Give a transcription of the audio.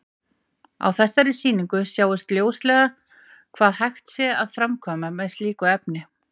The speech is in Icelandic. Á þessari sýningu sjáist ljóslega hvað hægt sé að framkvæma með slíku efni.